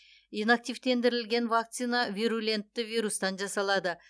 инактивтендірілген вакцина вирулентті вирустан жасалады